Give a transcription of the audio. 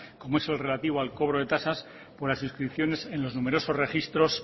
como es el relativo al cobro de tasas por las inscripciones en los numerosos registros